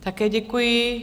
Také děkuji.